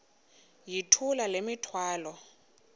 yithula le mithwalo